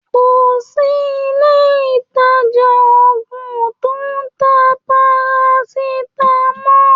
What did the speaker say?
Kò sí ilé-ìtàjà oògùn tó ń ta paracetamol.